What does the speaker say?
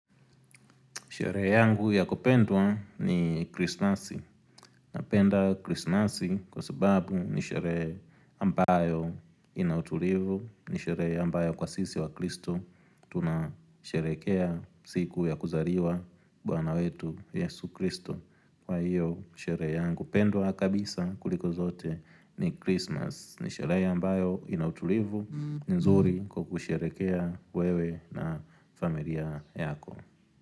Sherehe yangu ya kupendwa ni krisnasi. Napenda krismasi kwa sababu ni sherehe ambayo ina utulivu. Ni sherehe ambayo kwa sisi wakristo. Tunasherehekea siku ya kuzariwa bwana wetu yesu kristo. Kwa hiyo sherehe yangu. Ya kupendwa kabisa kuliko zote ni krismas. Ni sherehe ambayo ina utulivu. Nzuri kwa kusherehekea wewe na familia yako.